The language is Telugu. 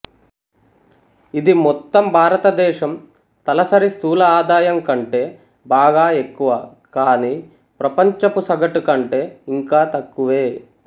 ఇది మొత్తం భారతదేశం తలసరి స్థూల ఆదాయం కంటే బాగా ఎక్కువ కాని ప్రపంచపు సగటుకంటే ఇంకా తక్కువే